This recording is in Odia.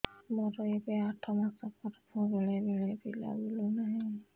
ମୋର ଏବେ ଆଠ ମାସ ଗର୍ଭ ବେଳେ ବେଳେ ପିଲା ବୁଲୁ ନାହିଁ